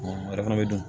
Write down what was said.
o yɛrɛ fana bɛ dun